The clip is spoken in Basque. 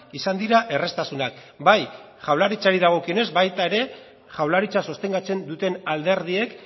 izan dira erraztasunak bai jaurlaritzari dagokionez baita ere jaurlaritza sostengatzen duten alderdiek